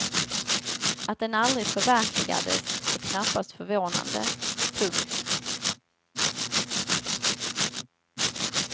Att den aldrig förverkligades är knappast förvånande. punkt